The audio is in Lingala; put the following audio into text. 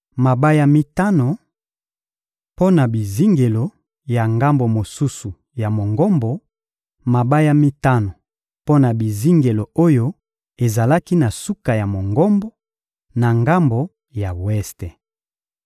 mabaya mitano mpo na bizingelo ya ngambo mosusu ya Mongombo, mabaya mitano mpo na bizingelo oyo ezalaki na suka ya Mongombo, na ngambo ya weste.